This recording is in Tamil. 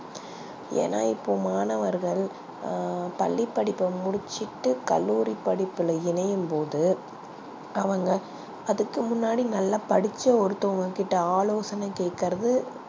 ஏனா இப்போ மாணவர்கள் அ பள்ளி படிப்ப முடிச்சிட்டு கல்லூரி படிப்புல இணையும் போது அவங்க அதுக்கு முன்னாடி படிச்ச ஒருத்தவங்க கிட்ட ஆலோசனை கேக்றது